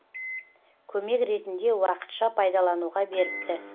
көмек ретінде уақытша пайдалануға беріпті